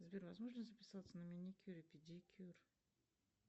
сбер возможно записаться на маникюр и педикюр